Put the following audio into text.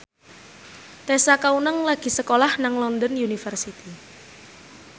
Tessa Kaunang lagi sekolah nang London University